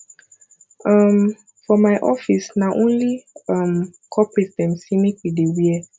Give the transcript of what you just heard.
um for my office na only um corporate dem sey make we dey wear